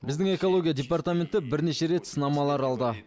біздің экология департаменті бірнеше рет сынамалар алды